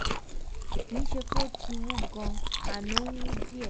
(kì í ṣe pé ó ti wú gan-an ó wú díẹ̀